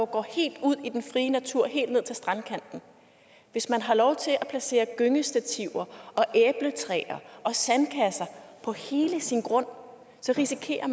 går helt ud i den frie natur helt ned til strandkanten hvis man har lov til at placere gyngestativer og æbletræer og sandkasser på hele sin grund risikerer